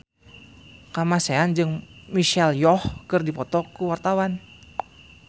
Kamasean jeung Michelle Yeoh keur dipoto ku wartawan